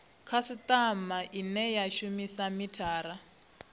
khasitama ine ya shumisa mithara